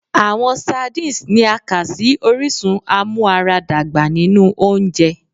Awọn Sardines ni a kà si orisun amuaradagba ninu ounjẹ